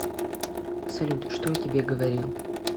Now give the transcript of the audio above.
салют что я тебе говорил